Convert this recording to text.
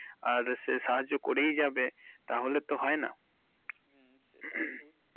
আর সাহায্য করেই যাবে তাহলে তো হয়নি। হুম সেটাই ভু।